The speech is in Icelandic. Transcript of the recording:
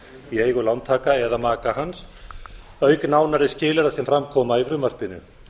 í eigu lántaka eða maka hans auk nánari skilyrða sem fram koma í frumvarpinu